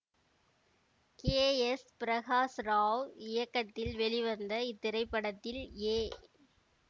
K S Prakash Rao இயக்கத்தில் வெளிவந்த இத்திரைப்படத்தில் ஏ